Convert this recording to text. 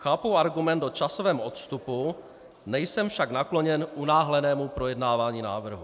Chápu argument o časovém odstupu, nejsem však nakloněn unáhlenému projednávání návrhu.